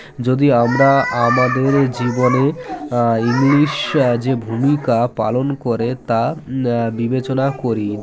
যদি আমরা আমাদের জীবনের আ english যে ভূমিকা পালন করে তা আ বিবেচনা করি